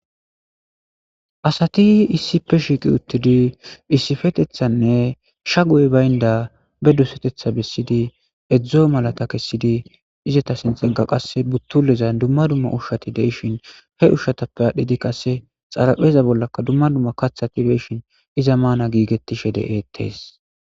Asati issipe shiiqi uttidi issipetethanne sha guey baynda be dusetetha bessidi edzdzo malata kessidi izeta sinxegga qasse buttuleza dumma dumma ushshati deishin he ushshatappe adhdhidi qasse xarapheeza bollaka dumma dumma kathati beishin iza maana giigettishe de'eettees.